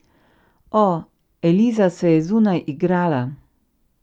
O, Eliza se je zunaj igrala.